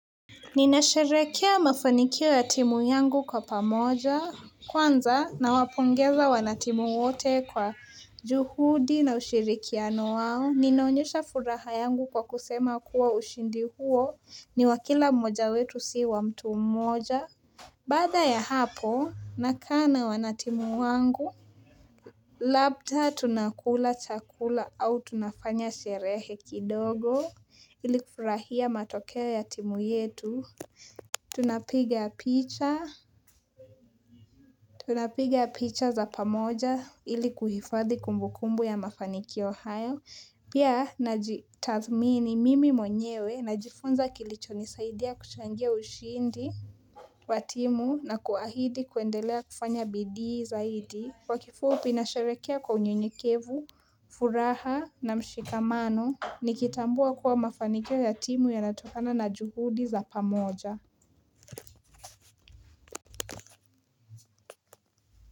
Ninasherekea mafanikio ya timu yangu kwa pamoja kwanza na wapongeza wanatimu wote kwa juhudi na ushirikiano wao Ninaonyesha furaha yangu kwa kusema kuwa ushindi huo ni wakila mmoja wetu si wa mtu mmoja Baada ya hapo nakaa na wanatimu wangu Labda tunakula chakula au tunafanya sherehe kidogo ilikufurahia matokeo ya timu yetu Tunapiga picha Tunapiga picha za pamoja ili kuhifadhi kumbukumbu ya mafaniki hayo Pia naji tathmini mimi mwenyewe na jifunza kilicho nisaidia kuchangia ushindi watimu na kuahidi kuendelea kufanya BD zaidi kwa kifupi nasherekea kwa unyonyekevu, furaha na mshikamano Nikitambua kuwa mafaniki ya timu ya natokana na juhudi za pamoja.